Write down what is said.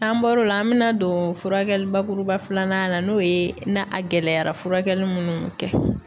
N'an bɔr'o la an bɛna don furakɛli bakuruba filanan na n'o ye na a gɛlɛyara furakɛli munnu mi kɛ.